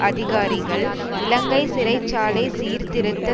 அதிகாரிகள் இலங்கை சிறை சாலை சீர்திருத்த